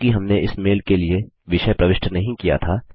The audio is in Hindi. क्योंकि हमने इस मेल के लिए विषय प्रविष्ट नहीं किया था